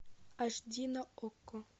аш ди на окко